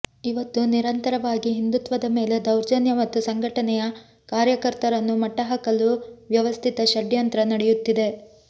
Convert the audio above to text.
ಇವತ್ತು ನಿರಂತರವಾಗಿ ಹಿಂದುತ್ವದ ಮೇಲೆ ದೌರ್ಜನ್ಯ ಮತ್ತು ಸಂಘಟನೆಯ ಕಾರ್ಯಕರ್ತರನ್ನು ಮಟ್ಟ ಹಾಕಲು ವ್ಯವಸ್ಥಿತ ಷಡ್ಯಂತ್ರ ನಡೆಯುತ್ತಿದೆ